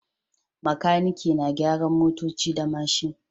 Makaniki na gyaran motoci da mashin